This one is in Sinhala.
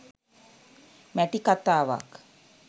මැටි කතාවක්